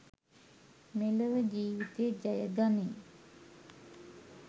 මෙලොව ජීවිතය ජය ගනී.